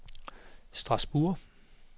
Strasbourg